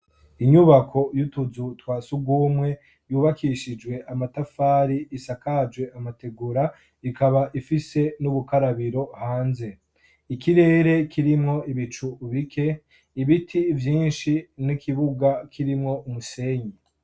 Inyubako y'utuzu twasugumwe yubakishijwe amatafari isakaje amategura ikaba ifise n'ubukarabiro hanze. Ikirere kirimwo ibicu bike ibiti vyinshi n'ikibuga kirimwo umusenyi.